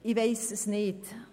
Ich weiss es nicht.